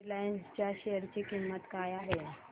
Reliance च्या share ची किंमत काय आहे